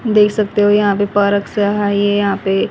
देख सकते हो यहां पे पार्क सा है ये यहां पे --